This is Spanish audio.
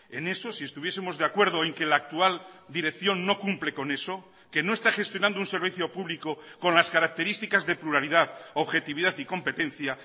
en eso si estuviesemos de acuerdo en que la actual dirección no cumple con eso que no está gestionando un servicio público con las características de pluralidad objetividad y competencia